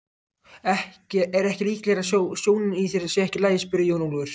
Er ekki líklegara að sjónin í þér sé ekki í lagi spurði Jón Ólafur.